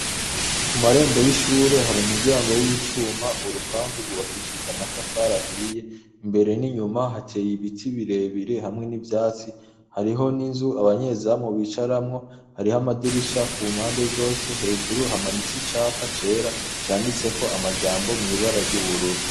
Ku marembo y'ishure hari umuryango w'icuma, urupangu rwubakishijwe amatafari ahiye, imbere n'inyuma hateye ibiti birebire hamwe n'ivyatsi, hariho n'inzu abanyezamu bicaramwo, hariho amadirisha ku mpande zose, hejuru hamanitse icapa cera canditseko amajambo mw'ibara ry'ubururu.